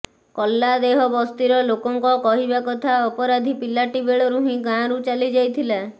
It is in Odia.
କଲ୍ଲାଦେହ ବସ୍ତିର ଲୋକଙ୍କ କହିବା କଥା ଅପରାଧୀ ପିଲାଟି ବେଳରୁ ହିଁ ଗାଁରୁ ଚାଲି ଯାଇଥିଲା